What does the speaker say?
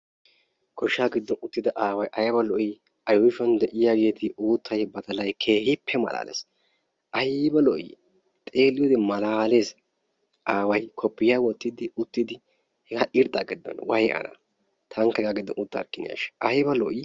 Goshsha giddon uttida aaway aybba lo'o! a yuushshuwan de'iyaa uuttay badalay keehippe malalees aybba lo'i aaway kopiyiyaa wottidi uttidi aybba lo''i! way ana! taankka hega giddion uttarkinashsha!